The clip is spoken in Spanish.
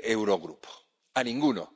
Eurogrupo —¡a ninguno!—